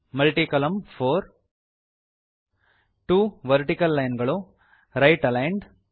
multi ಕಾಲಮ್ನ 4 2 vertical line ಗಳು right aligned